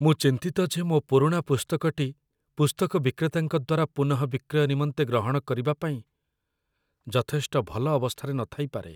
ମୁଁ ଚିନ୍ତିତ ଯେ ମୋ ପୁରୁଣା ପୁସ୍ତକଟି ପୁସ୍ତକ ବିକ୍ରେତାଙ୍କ ଦ୍ୱାରା ପୁନଃବିକ୍ରୟ ନିମନ୍ତେ ଗ୍ରହଣ କରିବାପାଇଁ ଯଥେଷ୍ଟ ଭଲ ଅବସ୍ଥାରେ ନଥାଇପାରେ